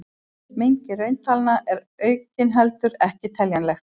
Mengi rauntalna er aukinheldur ekki teljanlegt.